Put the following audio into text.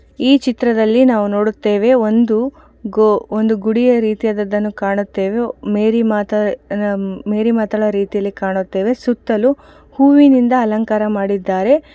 ಈ ಚಿತ್ರದಲ್ಲಿ ನಾವು ನೋಡುತ್ತೇವೆ ಒಂದು ಗೋ ಒಂದು ಗುಡಿಯ ರೀತಿಯಾದದ್ದನ್ನು ಕಾಣುತ್ತೇವೆ ಮೇರಿ ಮಾತಾ ಮೇರಿ ಮಾತಾಳ ರೀತಿಯಲ್ಲಿ ಕಾಣುತ್ತೇವೆ ಸುತ್ತಲೂ ಹೂವಿನಿಂದ ಅಲಂಕಾರ ಮಾಡಿದ್ದಾರೆ.